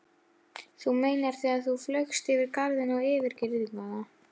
Þú meinar þegar þú flaugst yfir garðinn og yfir girðinguna.